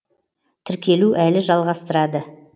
тіркелу әлі жалғастырады